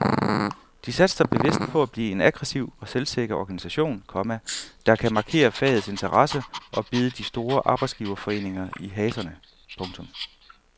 De satser bevidst på at blive en aggressiv og selvsikker organisation, komma der kan markere fagets interesser og bide de store arbejdsgiverforeninger i haserne. punktum